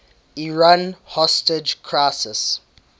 iran hostage crisis